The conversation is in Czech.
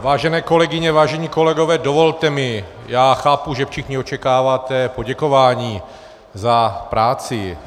Vážené kolegyně, vážení kolegové, dovolte mi - já chápu, že všichni očekáváte poděkování za práci.